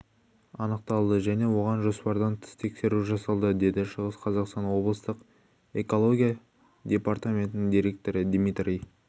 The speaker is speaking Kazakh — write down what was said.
анықталды және оған жоспардан тыс тексеру жасалды деді шығыс қазақстан облыстық экология департаментінің директоры дмитрий